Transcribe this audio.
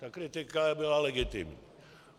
Ta kritika byla legitimní.